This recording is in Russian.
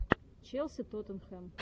челси тоттенхэм